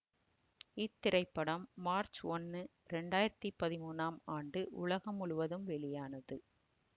இத்திரைப்படம் மார்ச் ஒன்னு இரண்டு ஆயிரத்தி பதிமூனாம் ஆண்டு உலகம் முழுவதும் வெளியானது